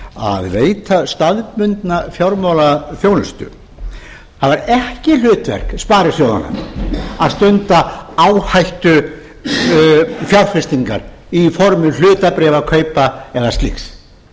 að veita staðbundna fjármálaþjónustu það var ekki hlutverk sparisjóðanna að stunda áhættufjárfestingar í formi hlutabréfakaupa eða slíks